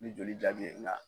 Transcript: Ni joli jaabi ye nga